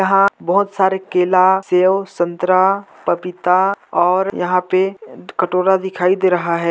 यहाँ बहुत सारे केला सेव संतरा पपीता और यहाँ पे कटोरा दिखाई दे रहा है।